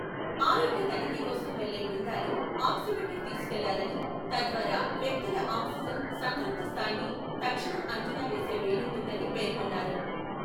ఆరోగ్య తనిఖీ కోసం వెళ్లే బృందాలు ఆక్సిమీటర్ తీసుకెళ్లాలని, తద్వారా వ్యక్తుల ఆక్సిజన్ సంతృప్త స్థాయిని తక్షణం అంచనా వేసే వీలుంటుందని పేర్కొన్నారు.